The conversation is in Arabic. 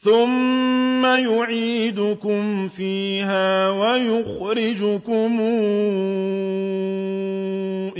ثُمَّ يُعِيدُكُمْ فِيهَا وَيُخْرِجُكُمْ